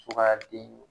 Sugaaden